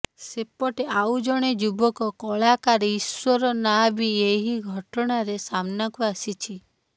ସେପଟେ ଆଉ ଜଣେ ଯୁବକ କଳାକାର ଇଶ୍ବର ନାଁ ବି ଏହି ଘଟଣାରେ ସାମ୍ନାକୁ ଆସିଛି